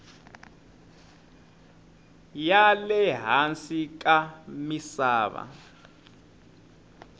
ya le hansi ka misava